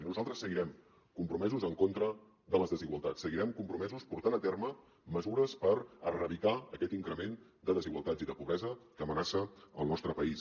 i nosaltres seguirem compromesos en contra de les desigualtats seguirem compromesos portant a terme mesures per erradicar aquest increment de desigualtats i de pobresa que amenaça el nostre país